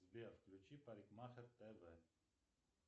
сбер включи парикмахер тв